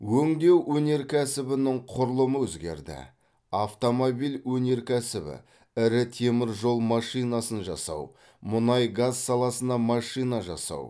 өңдеу өнеркәсібінің құрылымы өзгерді автомобиль өнеркәсібі ірі темір жол машинасын жасау мұнай газ саласына машина жасау